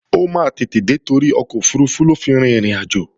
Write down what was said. Ó máa tètè dé torí ọkọ̀ òfurufú ló fi rin ìrìnàjò